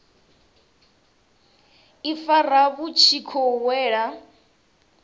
ifara vhu tshi khou wela